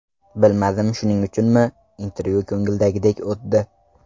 Bilmadim shuning uchunmi, intervyu ko‘ngildagidek o‘tdi.